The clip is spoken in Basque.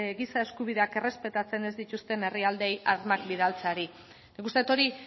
giza eskubideak errespetatzen ez dituzten herrialdeei armak bidaltzeari nik uste dut hori